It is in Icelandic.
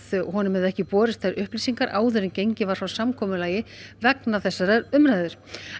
honum hefðu ekki borist þær upplýsingar áður en gengið var frá samkomulagi vegna umræðunnar